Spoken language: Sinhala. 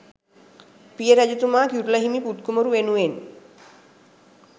පිය රජතුමා කිරුළ හිමි පුත් කුමරු වෙනුවෙන්